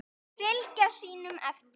Fylgja sínum eftir.